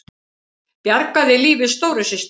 Bjargaði lífi stóru systur